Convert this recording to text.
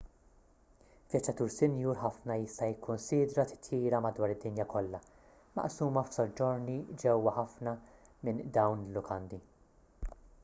vjaġġatur sinjur ħafna jista' jikkunsidra titjira madwar id-dinja kollha maqsuma f'soġġorni ġewwa ħafna minn dawn il-lukandi